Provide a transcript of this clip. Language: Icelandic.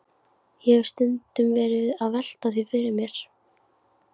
Ég hef stundum verið að velta því fyrir mér.